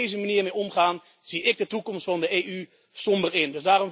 Als we daar op deze manier mee omgaan zie ik de toekomst van de EU somber in.